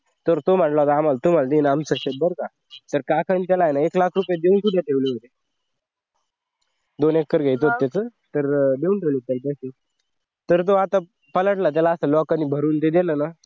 तर तो म्हणला आम्हाला तुम्हाला देईन आमचं शेत बर का तर काही काहींचे नाही का एक लाख रुपये सुद्धा देऊन ठेवले होते दोन एकर घ्यायचं त्यांचं तर देऊन ठेवले होते. तर त्याला असा लोकांनी भरून दिली ना